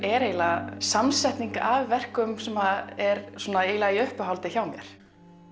er eiginlega samsetning af verkum sem eru eiginlega í uppáhaldi hjá mér